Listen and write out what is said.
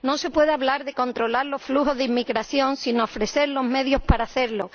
No se puede hablar de controlar los flujos de inmigración sin ofrecer los medios para hacerlo.